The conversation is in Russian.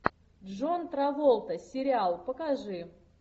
джон траволта сериал покажи